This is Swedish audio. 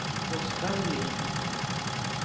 Oskar Lindh